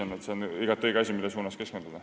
Nii et see on igati õige asi, millele keskenduda.